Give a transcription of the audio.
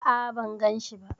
A'a, ban ganshi ba.